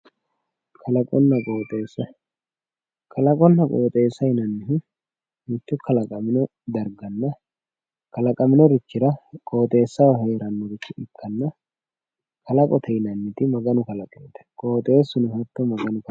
kalaqonna qooxeessa kalaqonna qooxeessa yinannihu mitto kalaqamino darganna kalaqaminorichira qooxeessaho heeranno ikkanna kalaqote yinanniti maganu qooxeessuno hatto maganu kalaqeeho.